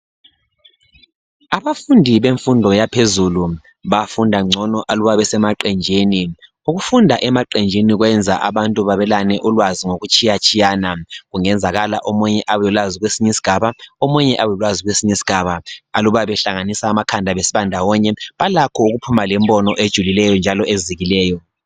Abafundi bemfundo yaphezulu bafunda ngcono aluba besemaqenjini ukufunda emaqenjini kwenza abantu babelane ulwazi ngokutshiya tshiyana kungenzakala omunye abelolwazi kwesinye isigaba omunye abelolwazi kwesinye isigaba aluba behlanganisa amakhanda besiba ndawonye balakho ukuphuma lembono ejulileyo njalo ezikileyo.